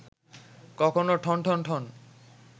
কখনো ঠন ঠন ঠন